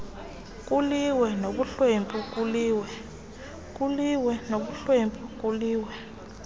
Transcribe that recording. kuliwe nobuhlwempu kuliwe